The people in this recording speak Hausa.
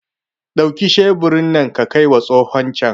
Dauki sheburi nan ka kaima tsohon can!